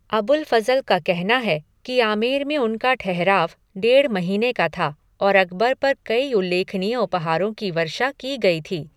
अबुल फज़ल का कहना है कि आमेर में उनका ठहराव डेढ़ महीने का था और अकबर पर कई उल्लेखनीय उपहारों की वर्षा की गई थी।